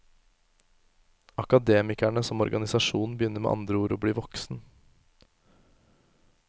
Akademikerne som organisasjon begynner med andre ord å bli voksen.